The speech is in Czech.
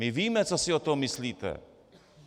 My víme, co si o tom myslíte.